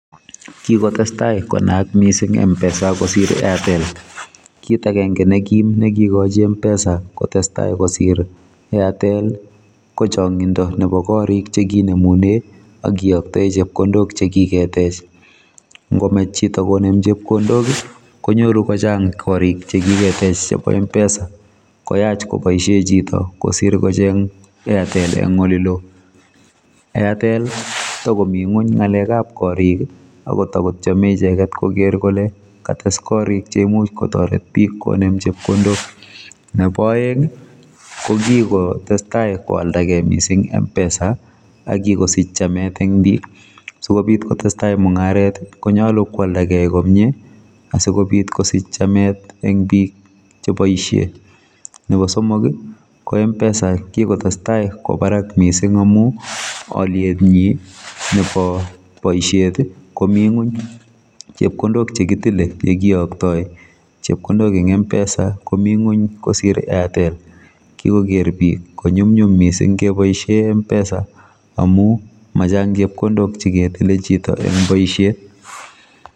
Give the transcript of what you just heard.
Kikotesak konaak mpesa mising kosir airtel kit kenge ne kim nekitoret mpesa konaaak mising kosir airtel kochangindo nebo korik chekinemune akiyoktoe chepkondok chekiketech ngomach chito konem chepkondok konyoru kochang korik chekiketech chebo mpesa koyach koboisie chito kosir kocheng airtel eng olelo airtel kotakomi ngony ngalekab korik akotikotyeme ichek koker kole kates korik cheimuch kotoret bik konem chepkondok nebo aeng kokikotestai koalda gei mising mpesa akikosich chamet eng bik sikobit kotestai mungaret konyalu koaldakei komye asikobit kosich chamet eng bik cheboisie nebo somok ko mpesa kikotestai kwo barak mising amu olietnyi nebo boisiet komi ngony chepkondok chekitile sikeyokto chepkondok eng mpesa komi ngony kosir airtel kikoker bik konyumnyum mising kebboisie mpesa amu machang chepkondok cheketile chito eng boisiet